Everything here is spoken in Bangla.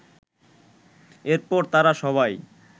এরপর তাঁরা সবাই